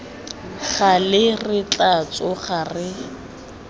gale re tla tsoga re